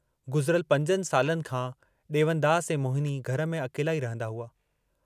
गुज़िरल पंजनि सालनि खां डेवनदास ऐं मोहिनी घर में अकेला ई रहन्दा हुआ।